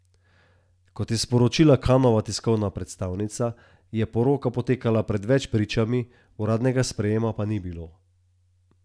Kot je sporočila Kanova tiskovna predstavnica, je poroka potekala pred več pričami, uradnega sprejema pa ni bilo.